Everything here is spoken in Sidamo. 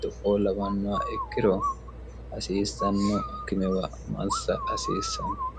do'o labannoa ikkiro hasiissanno akimewa massa hasiissanno